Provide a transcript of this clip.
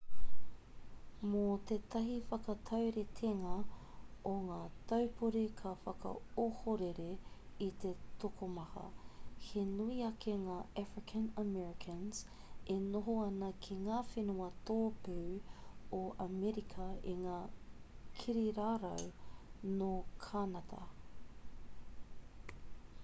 mō tētahi whakatauritenga o te taupori ka whakaohorere i te tokomaha he nui ake ngā african americans e noho ana ki ngā whenua tōpū o amerika i ngā kirirarau nō kānata